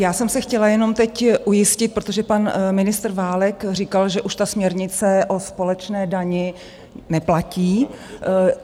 Já jsem se chtěla jenom teď ujistit, protože pan ministr Válek říkal, že už ta směrnice o společné dani neplatí.